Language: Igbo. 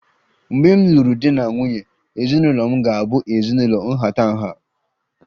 Mgbe m lụrụ di na nwunye, ezinụlọ m ga-abụ ezinụlọ nhatanha